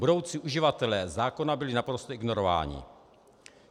Budoucí uživatelé zákona byli naprosto ignorováni.